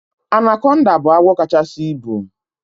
Anaconda bụ agwọ kachasi ịbu